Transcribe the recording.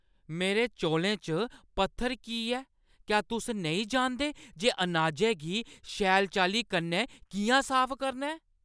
मेरे चौलें च पत्थर की ऐ? क्या तुस नेईं जानदे जे अनाजै गी शैल चाल्ली कन्नै किʼयां साफ करना ऐ?